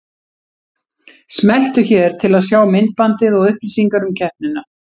Smelltu hér til að sjá myndbandið og upplýsingar um keppnina